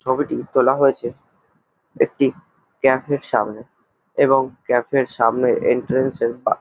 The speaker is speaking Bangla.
ছবিটি তোলা হয়েছে একটি ক্যাফে -এর সামনে এবং ক্যাফে -এর সামনে এন্ট্রান্স -এর বা --